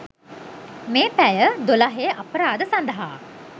මේ පැය දොළහේ අපරාධ සඳහා